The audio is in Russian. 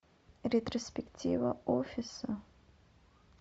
ретроспектива офиса